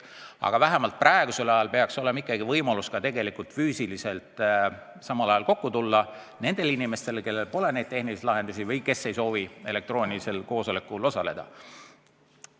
Aga praegusel ajal peaks olema ikkagi võimalus ka füüsiliselt samal ajal kokku tulla, kui osal inimestel pole vajalikke tehnilisi lahendusi või kui mõni ei soovi muul põhjusel elektrooniliselt koosolekul osaleda.